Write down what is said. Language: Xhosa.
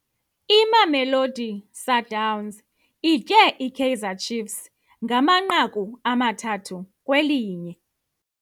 Imamelodi Sundowns itye iKaizer Chiefs ngamanqaku amathathu kwelinye.